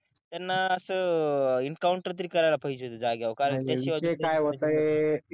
त्यांना असं एन्काऊंटर तरी करायला पाहिजे होत जाग्यावर